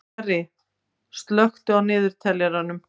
Kjarri, slökktu á niðurteljaranum.